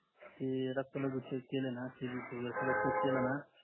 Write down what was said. की रक्त मधी check केलं ना